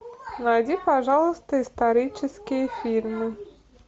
найди пожалуйста исторические фильмы